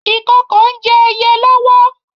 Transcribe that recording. Ìkokò ń jẹ ẹyẹ lọ́wọ́.